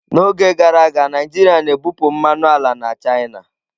N'oge gara aga, Naijiria na-ebupụ mmanụ ala na china.